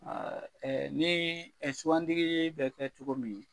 ni suwantigi bɛ kɛ cogo min